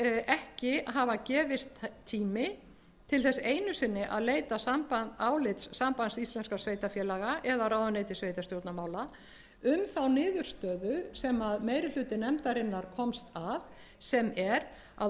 ekki hafa gefist tími til þess einu sinni að leita álits sambands íslenskra sveitarfélaga eða ráðuneytis sveitarstjórnarmála um þá niðurstöðu sem meiri hluti nefndarinnar komst að sem er að